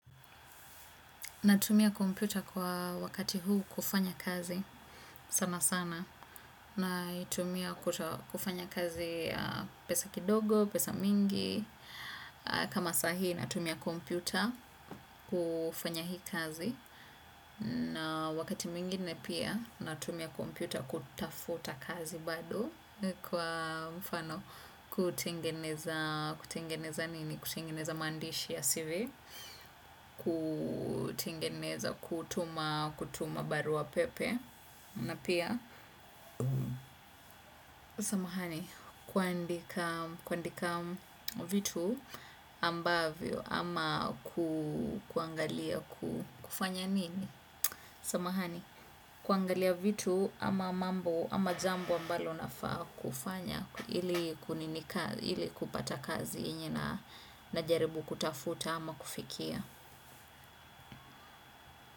Natumia kompyuta kwa wakati huu kufanya kazi, sana sana. Naitumia kufanya kazi ya pesa kidogo, pesa mingi. Kama sahii, natumia kompyuta kufanya hii kazi. Na wakati mwingine pia, natumia kompyuta kutafuta kazi bado. Kwa mfano, kutengeneza maandishi ya cv kutengeneza kutuma barua pepe na pia samahani kuandika vitu ambavyo ama kuangalia kufanya nini samahani, kuangalia vitu ama mambo ama jambo ambalo nafaa kufanya ili kupata kazi yenye na najaribu kutafuta ama kufikia.